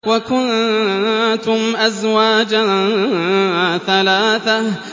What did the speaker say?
وَكُنتُمْ أَزْوَاجًا ثَلَاثَةً